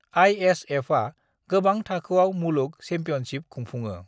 आइएसएफआ गोबां थाखोआव मुलुग चेम्पियनशिप खुंफुङो।